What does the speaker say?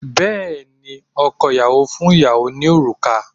Bẹ́ẹ̀ ni, ọkọ ìyàwó fún ìyàwó ní òrùka